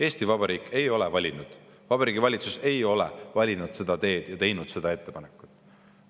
Eesti Vabariik ei ole valinud seda teed, Vabariigi Valitsus ei ole teinud sellist ettepanekut.